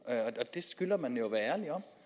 det skylder man jo at være ærlig om